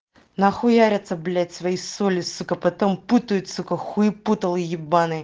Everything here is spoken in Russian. нахуяриться блять свои соли сукко потом путают с такой хуепутало ебаные